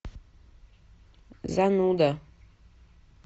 зануда